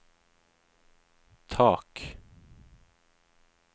tak